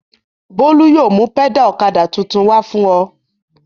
Bólú yóò mú pẹ́dà ọ̀kadà tuntun wá fún ọ.